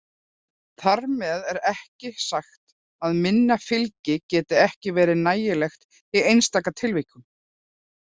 Þar með er ekki sagt að minna fylgi geti ekki verið nægilegt í einstaka tilvikum.